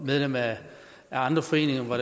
medlem af andre foreninger hvor